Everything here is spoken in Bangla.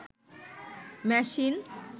মেশিন